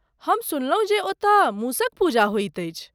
हम सुनलहुँ जे ओतय मूसक पूजा होइत अछि!